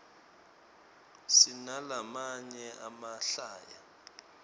sinalamanye emahlaya